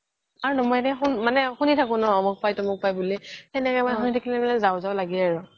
আৰু শুনি থাকো ন এমোক পাই তমোক পাই বুলি সেনেকে মানে শুনি থাকিলে যাও যাও লাগে আৰু